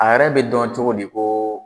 A yɛrɛ bɛ dɔn cogo di ko